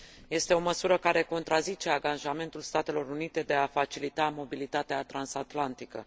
Este o măsură care contrazice angajamentul Statelor Unite de a facilita mobilitatea transatlantică.